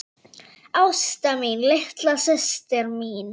Ásta mín, litla systir mín.